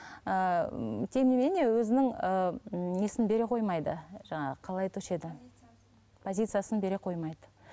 ыыы тем не менее өзінің ыыы несін бере қоймайды жаңағы қалай айтушы еді позициясын бере қоймайды